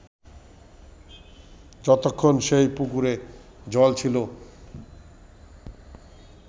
যতক্ষন সেই পুকুরে জল ছিল